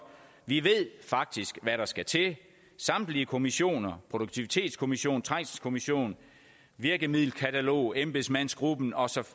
vi ved faktisk hvad der skal til samtlige kommissioner produktivitetskommissionen trængselskommissionen virkemiddelkataloget embedsmandsgruppen og så